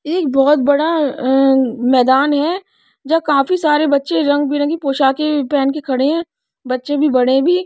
एक बहोत बड़ा अ मैदान है जो काफी सारे बच्चे रंग बिरंगी पोशाकें पहन कें खड़े हैं बच्चे भी बड़े भी।